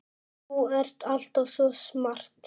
Þú ert alltaf svo smart.